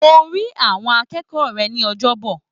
Mo rí àwọn akẹ́kọ̀ọ́ rẹ̀ ní Ọjọ́bọ̀.